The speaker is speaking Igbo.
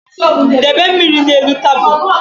Debe mmiri na-elu tabulu